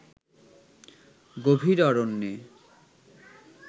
গভীর অরণ্যে